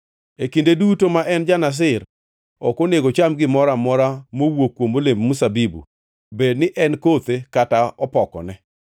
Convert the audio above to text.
E kinde duto ma en ja-Nazir, ok onego ocham gimoro amora mowuok kuom olemb mzabibu, bed ni en kothe kata opokone.